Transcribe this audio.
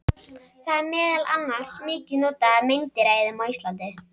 Það er meðal annars mikið notað af meindýraeyðum á Íslandi.